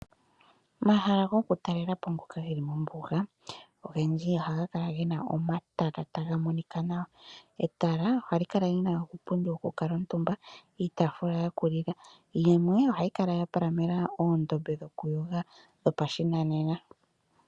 Omahala gokutalela po ngoka ge li mombuga ogendji ohaga kala ge na omatala taga monika nawa. Etala ohali kala li na iipundi yokukala omutumba, iitafuula yokulila. Yimwe ohayi kala ya palamena oondombe dhokuyoga dhopashinanena.